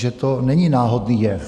Že to není náhodný jev.